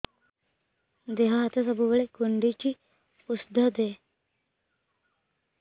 ଦିହ ହାତ ସବୁବେଳେ କୁଣ୍ଡୁଚି ଉଷ୍ଧ ଦେ